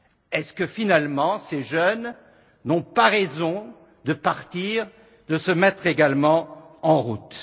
Est ce que, finalement, ces jeunes n'ont pas raison de partir, de se mettre également en route?